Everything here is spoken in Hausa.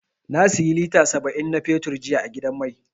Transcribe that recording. Na siyi lita saba'in na fetur jiya a gidan mai.